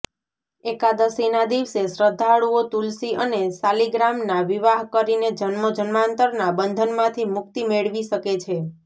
એકાદશીના દિવસે શ્રદ્ધાળુઓ તુલસી અને શાલિગ્રામના વિવાહ કરીને જન્મો જન્માંતરના બંધનમાંથી મુકિત મેળવી શકે છે